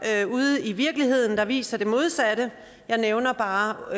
ude i virkeligheden der viser det modsatte jeg nævner bare